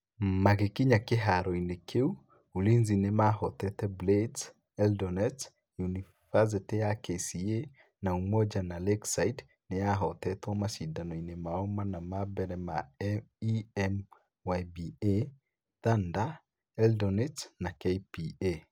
Magĩkinya kĩharoinĩ kĩu, Ulinzi nĩ mahootete Blades, Eldonets, yunibathĩtĩ ya KCA na Umoja na Lakeside nĩ yahootetwo macindano-inĩ mao mana ma mbere na EMYBA, Thunder, Eldonets na KPA.